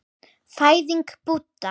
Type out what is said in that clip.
Fæðing Búdda.